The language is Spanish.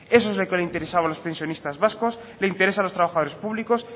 eso es lo que le interesaba a los pensionistas vascos le interesa a los trabajadores públicos